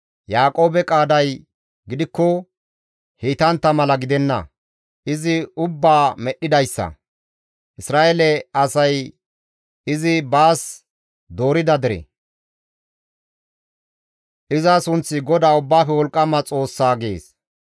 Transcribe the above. Yaaqoobe qaaday gidikko heytantta mala gidenna; izi ubbaa medhdhidayssa; Isra7eele asay izi baas doorida dere; iza sunththi GODAA Ubbaafe Wolqqama Xoossa» gees.